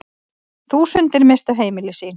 Þúsundir misstu heimili sín.